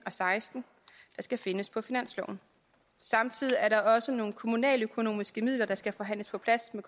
og seksten der skal findes på finansloven og samtidig er der også nogle kommunaløkonomiske midler der skal forhandles på plads med